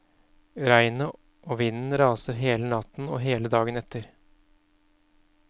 Regnet og vinden raser hele natten og hele dagen etter.